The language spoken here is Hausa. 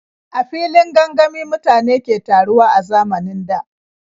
A filin gangami mutane ke taruwa a zamanin da.